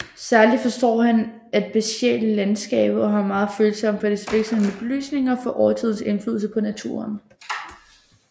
Særligt forstår han at besjæle landskabet og har megen følelse for dets vekslende belysninger og for årstidernes indflydelse på naturen